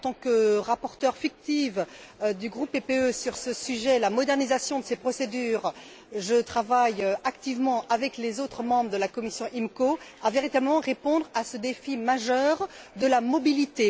En tant que rapporteure fictive du groupe PPE sur ce sujet, la modernisation de ces procédures, je travaille activement avec les autres membres de la commission IMCO à véritablement répondre à ce défi majeur de la mobilité.